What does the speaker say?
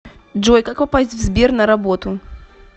джой как попасть в сбер на работу